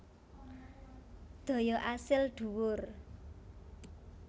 Daya asil dhuwur